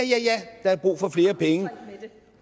der er brug for flere penge